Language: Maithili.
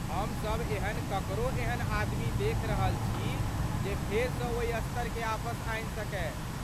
हमसभ एहन ककरो एहन आदमी देखि रहल छी जे फेरसँ ओहि स्तरकेँ आपस आनि सकय।